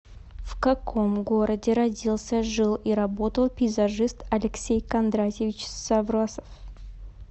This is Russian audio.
в каком городе родился жил и работал пейзажист алексей кондратьевич саврасов